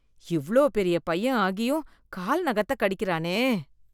இவ்ளோ பெரிய பையன் ஆகியும் கால் நகத்த கடிக்கறானே.